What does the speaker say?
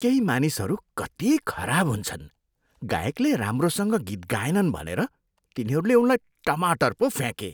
केही मानिसहरू कति खराब हुन्छन्। गायकले राम्रोसँग गीत गाएनन् भनेर तिनीहरूले उनलाई टमाटर पो फ्याँके।